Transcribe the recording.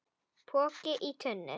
Poki í tunnu